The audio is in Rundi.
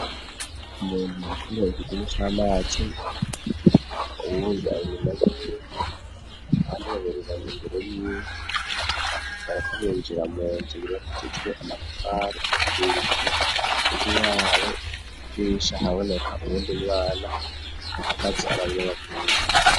Umuntu bikores igimu camatsi ububuanimabie abanibanereraminbero y'i barakumigera mu nzu riratutwe amaparebir ig'iyabo ibwisha haboneka ubundi mwana amakatsi ababire bavuye.